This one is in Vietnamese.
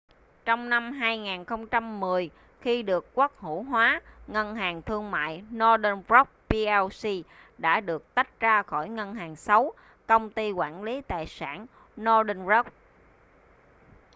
trong năm 2010 khi được quốc hữu hóa ngân hàng thương mại northern rock plc đã được tách ra khỏi ‘ngân hàng xấu’ công ty quản lý tài sản northern rock